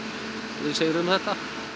við sigrum þetta